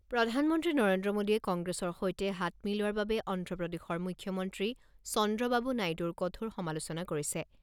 প্ৰধানমন্ত্ৰী নৰেন্দ্ৰ মোডীয়ে কংগ্ৰেছৰ সৈতে হাত মিলোৱাৰ বাবে অন্ধ্ৰপ্ৰদেশৰ মুখ্যমন্ত্ৰী চন্দ্ৰবাবু নাইডুৰ কঠোৰ সমালোচনা কৰিছে।